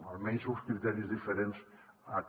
almenys amb uns criteris diferents a aquest